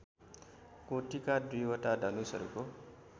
कोटिका दुईवटा धनुषहरूको